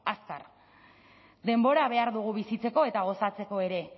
azkar denbora behar dugu bizitzeko eta gozatzeko ere